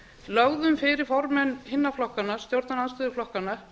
lögðum fyrir formenn hinna flokkanna stjórnarandstöðuflokkanna